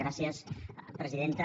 gràcies presidenta